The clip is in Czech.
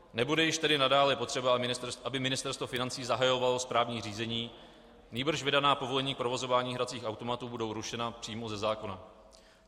Nebude již tedy nadále potřeba, aby Ministerstvo financí zahajovalo správní řízení, nýbrž vydaná povolení k provozování hracích automatů budou rušena přímo ze zákona.